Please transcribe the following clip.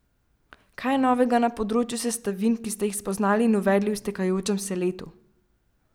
Kaj je novega na področju sestavin, ki ste jih spoznali in uvedli v iztekajočem se letu?